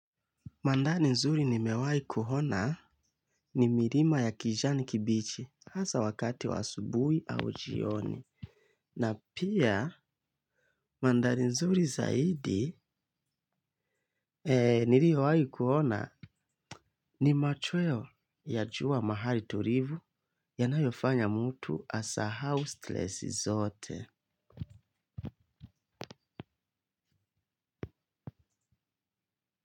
Mandhari nzuri nimewahi kuona ni milima ya kijani kibichi hasaa wakati wa asubuhi au jioni. Na pia mandhari nzuri zaidi niliyowahi kuona ni machweo ya jua mahali tulivu ya nayofanya mtu asahau stress zote.